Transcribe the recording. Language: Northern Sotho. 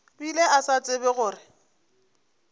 bile a sa tsebe gore